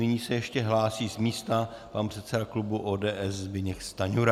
Nyní se ještě hlásí z místa pan předseda klubu ODS Zbyněk Stanjura.